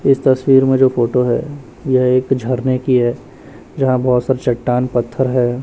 इस तस्वीर में जो फोटो है यह एक झरने की है यहां बहुत सारे चट्टान पत्थर है।